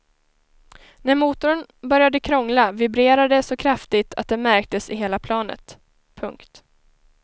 När motorn började krångla vibrerade det så kraftigt att det märktes i hela planet. punkt